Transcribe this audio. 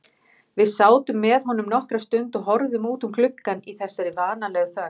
Við sátum með honum nokkra stund og horfðum út um gluggann í þessari vanalegu þögn.